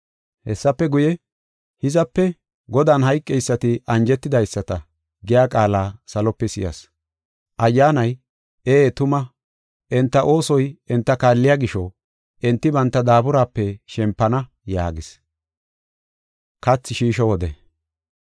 Hessafe guye, “Hizape Godan hayqeysati anjetidaysata” giya qaala salope si7as. Ayyaanay, “Ee tuma, enta oosoy enta kaalliya gisho, enti banta daaburaape shempana” yaagees.